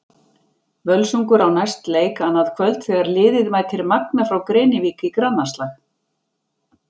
Völsungur á næst leik annað kvöld þegar liðið mætir Magna frá Grenivík í grannaslag.